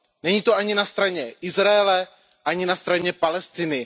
Není to ani na straně Izraele, ani na straně Palestiny.